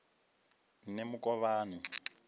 nemukovhani